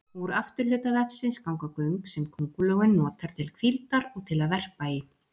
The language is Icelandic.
Úr afturhluta vefsins ganga göng sem köngulóin notar til hvíldar og til að verpa í.